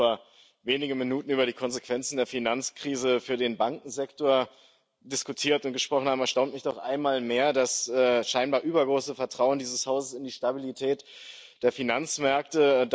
Nachdem wir erst vor wenigen Minuten über die Konsequenzen der Finanzkrise für den Bankensektor diskutiert und gesprochen haben, erstaunt mich doch einmal mehr das scheinbar übergroße Vertrauen dieses Hauses in die Stabilität der Finanzmärkte.